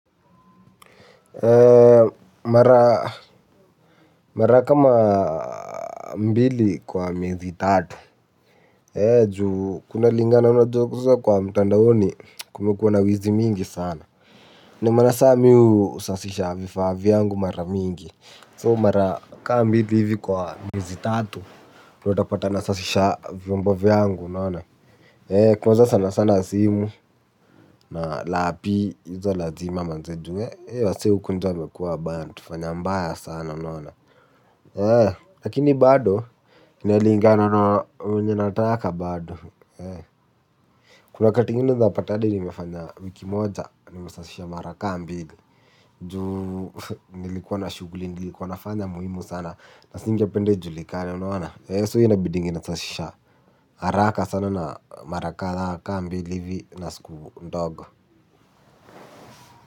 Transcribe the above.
Mara kama mbili kwa miezi tatu kunalingana na job hizo kwa mtandaoni kumekuwa na wizi mwingi sana ndiyo maana sasa mimi husafisha vifaa vyangu mara mingi. So mara kama mbili hivi kwa miezi tatu. Utapata nasafisha vyombo vyangu, unona kwanza sana sana simu. Na lapi hizo lazima manze ju we wasee huku nje wamekua bant kufanya mbaya sana unona. Lakini bado inalinga na wenye nataka bado. Kuna wakati ingine unaezapata adi nimefanya wiki moja. Nimesashisha mara ka mbili. Ju nilikuwa na shughuli. Nilikuwa nafanya muhimu sana. Nasinge penda ijulikane unaona so inabidingi nasashisha haraka sana na mara kadhaa ka mbili ivi na siku ndogo.